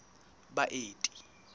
baeti